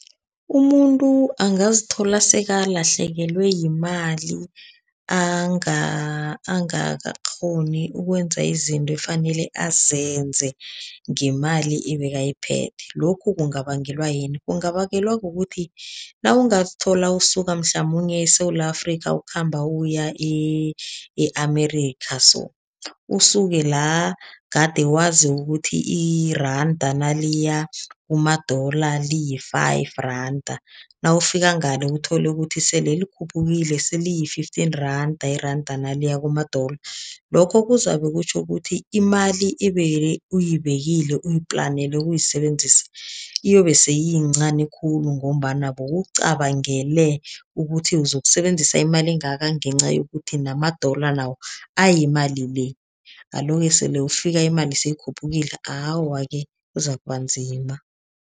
Umuntu angazithola sekalahlekelwe yimali, angakakghoni ukwenza izinto efanele azenze ngemali ebekayiphethe. Lokhu kungabangelwa yini? Kungabangelwa kukuthi nawungazithola usuka mhlamunye eSewula Afrika ukhamba uya e-America so, usuke la kade wazi ukuthi iranda naliya kuma-dollar liyi-five rand. Nawufika ngale uthole ukuthi sele likhuphukile, seliyi-fifteen rand, iranda naliya kuma-dollar. Lokho kuzabe kutjho ukuthi imali ube uyibekile uyiplanele ukuyisebenzisa, iyobe sele iyincani khulu ngombana bowucabangele ukuthi uzokusebenzisa imali engaka ngenca yokuthi nama-dollar nawo ayimali le. Alo-ke, sele ufika imali seyikhuphukile, awa-ke kuzakuba nzima.